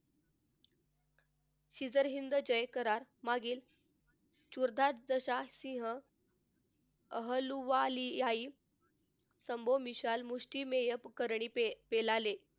हिंद जय करार मागील सुरताज दशसिंह अहलुवालिया सम्बो मिशाल मुष्टिमेय पेलाले,